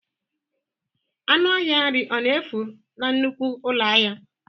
Ọnụ ahịa nri ọ na-efu na nnukwu ụlọ ahịa?